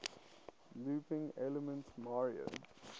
looping elements mario